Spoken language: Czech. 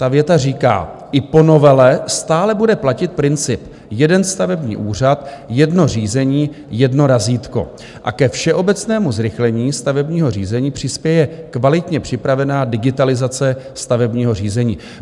Ta věta říká: "I po novele stále bude platit princip jeden stavební úřad, jedno řízení, jedno razítko a ke všeobecnému zrychlení stavebního řízení přispěje kvalitně připravená digitalizace stavebního řízení.